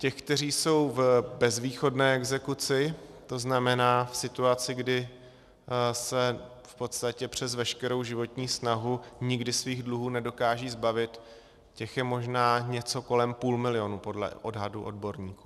Těch, kteří jsou v bezvýchodné exekuci, to znamená v situaci, kdy se v podstatě přes veškerou životní snahu nikdy svých dluhů nedokážou zbavit, těch je možná něco kolem půl milionu podle odhadů odborníků.